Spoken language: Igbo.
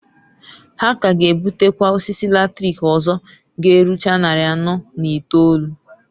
Ha k'aga ebutekwa osisi latrik ọzọ g'erucha nnarị anọọ na itolu.